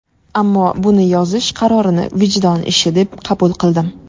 Ammo... buni yozish qarorini vijdon ishi deb qabul qildim.